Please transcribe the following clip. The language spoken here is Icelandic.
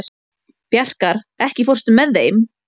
Bjarkar, ekki fórstu með þeim?